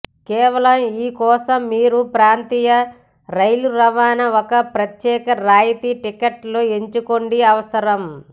కేవలం ఈ కోసం మీరు ప్రాంతీయ రైలు రవాణా ఒక ప్రత్యేక రాయితీ టిక్కెట్లు ఎంచుకోండి అవసరం